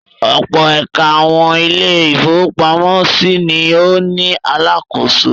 Ọ̀pọ̀ ẹ̀ka àwọn ilé-ìfowópamọ́sí ni ó ní alákòóso.